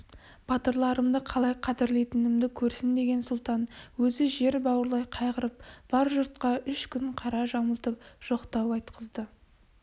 батырларымды қалай қадірлейтінімді көрсін деген сұлтан өзі жер бауырлай қайғырып бар жұртқа үш күн қара жамылтып жоқтау айтқызды